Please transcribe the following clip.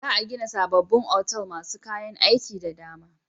Za'a gina sabobbin otal masu kayan aiki da dama.